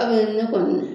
Kabini ne kɔni